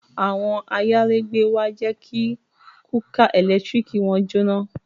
Àwọn ayálégbé wa jẹ́ kí kúkà ẹ̀lẹ́tíríkì wọn jóná